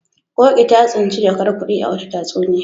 Ƙoƙi ta tsinci jakar kuɗi a wata tatsuniya.